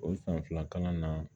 O san fila kalan na